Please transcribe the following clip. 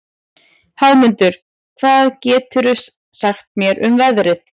Hámundur, hvað geturðu sagt mér um veðrið?